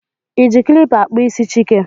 ị ji kilipa akpụ isi Chike?